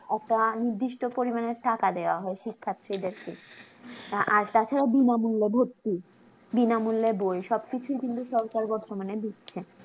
একটা নির্দিষ্ট পরিমানের টাকা দেওয়া হয় শিক্ষার্থীদেরকে আর তা ছাড়া বিনামূল্যে ভর্তি বিনামূল্যে বই সব কিছু কিন্তু সরকার বর্তমানে দিচ্ছে